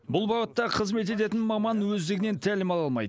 бұл бағытта қызмет ететін маман өздігінен тәлім ала алмайды